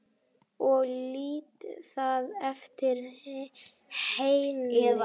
Ég lét það eftir henni.